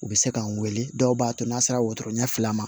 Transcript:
U bɛ se ka n wele dɔw b'a to n'a sera wotoro ɲɛ fila ma